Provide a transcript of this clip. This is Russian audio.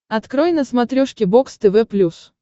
открой на смотрешке бокс тв плюс